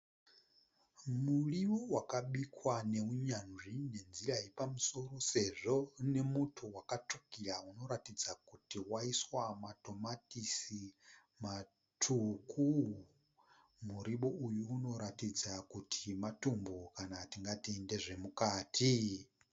Muriwo wakabikwa neunyanzvi nenzira yepamusoro sezvo une muto wakatsvukira unoratidza kuti waiswa matomatisi matsvuku. Muriwo uyu unoratidza kuti matumbu kana tingati ndezvemukati.